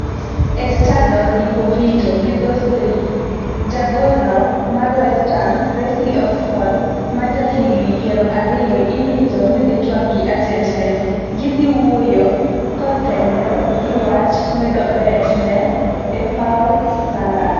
(Estadado deportivo- gi dho Spein) ja gol no mar Westham Reece Oxford ma jahigni piero ariyo irito ni dhi twak gi ajent ne. gidhiwuoyo kothenre gi wach medo bet ne e paw London